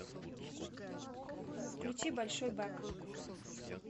включи большой бак